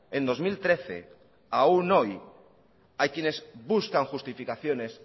en dos mil trece aún hoy hay quienes buscan justificaciones